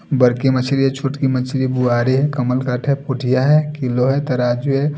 बरकी मछली है छोटी मछली बुवारी है कमल गाट है पुठिया है किलो है तराजू है।